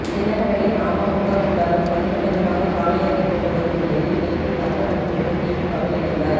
தினகரனின் அமமுக கூடாரம் கொஞ்சம் கொஞ்சமாக காலியாகி கொண்டு வரும் நிலையில் நேற்று தங்க தமிழ்ச்செல்வன் திமுகவில் இணைந்தார்